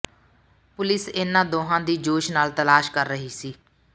police ਇਨ੍ਹਾਂ ਦੋਹਾਂ ਦੀ ਜੋਸ਼ ਨਾਲ ਤਲਾਸ਼ ਕਰ ਰਹੀ ਸੀ